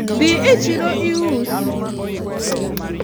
dhi I chiro ius